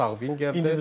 O sağ wingerdir.